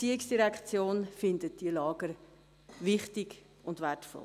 Auch die ERZ findet diese Lager wichtig und wertvoll.